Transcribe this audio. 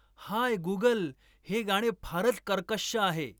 हाय Google हे गाणे फारच कर्कश्श आहे